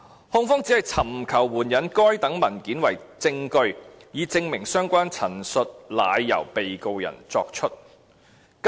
控方只是尋求援引該等文件為證據，以證明相關陳述乃由被告人作出"。